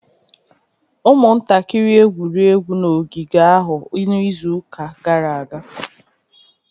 Ụmụntakịrị egwuri egwu n'ogige ahụ n'izuụka gara aga.